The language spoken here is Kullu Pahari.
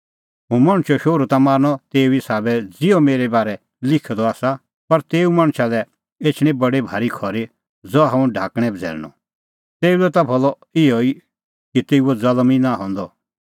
हुंह मणछो शोहरू ता मरनअ तेऊ ई साबै ज़िहअ मेरै बारै लिखअ द आसा पर तेऊ मणछा लै एछणी बडी भारी खरी ज़हा हुंह ढाकणैं बझ़ैल़णअ तेऊ लै त भलअ इहअ ई कि तेऊओ ज़ल्म ई नांईं हंदअ